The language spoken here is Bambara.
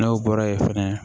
N'o bɔra yen fɛnɛ